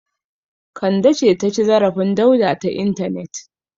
Kande ce ta ci zarafin Dauda ta intanet.